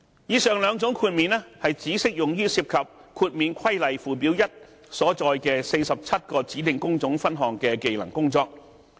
以上兩種豁免只適用於涉及《豁免規例》附表1所載的47個指定工種分項的技能工作。